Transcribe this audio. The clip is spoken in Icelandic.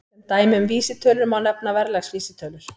Sem dæmi um vísitölur má nefna verðlagsvísitölur.